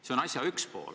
See on asja üks pool.